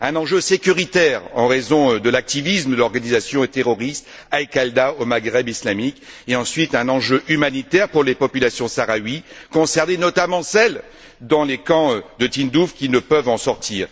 C'est un enjeu sécuritaire en raison de l'activisme de l'organisation terroriste Al Qaida au Maghreb islamique, et ensuite, c'est un enjeu humanitaire pour les populations sahraouies concernées, notamment celles dans les camps de Tindouf, qui ne peuvent en sortir.